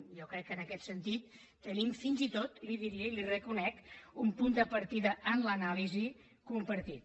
jo crec que en aquest sentit tenim fins i tot li diria i li ho reconec un punt de partida en l’anàlisi compartit